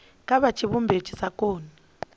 kha tshivhumbeo tshi sa koni